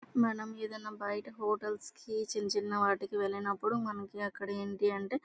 మనం ఏ డయిన బయట హోటల్స్ కి ఈదిన చిన్న చిన్న వాటికీ వెళ్ళినప్పుడు మనకి అక్కడ ఏంటి అంటే --